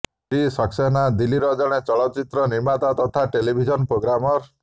ଶ୍ରୀ ସାକ୍ସେନା ଦିଲ୍ଲୀର ଜଣେ ଚଳଚ୍ଚିତ୍ର ନିର୍ମାତା ତଥା ଟେଲିଭିଜନ୍ ପ୍ରୋଗ୍ରାମର୍